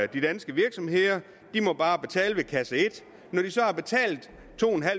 de danske virksomheder de må bare betale ved kasse et når de så har betalt to